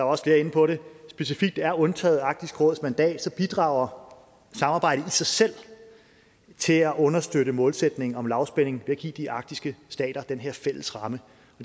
også inde på det specifikt er undtaget arktisk råds mandat bidrager samarbejdet i sig selv til at understøtte målsætningen om lavspænding ved at give de arktiske stater den her fælles ramme